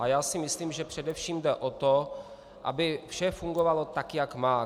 A já si myslím, že především jde o to, aby vše fungovalo tak, jak má.